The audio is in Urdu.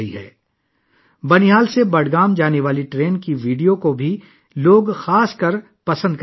لوگ خاص طور پر بانہال سے بڈگام جانے والی ٹرین کی ویڈیو کو بھی پسند کر رہے ہیں